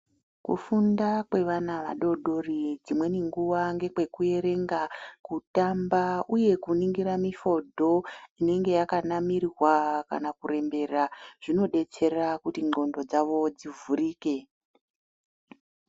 Kufunda kwevana vadoodori dzimweni nguwa ngekwekuerenga, kutamba uye kuningira mifodho inenge yakanamirwa kana kurembera, zvinodetsera kuti ndhlondo dzavo dzivhurike.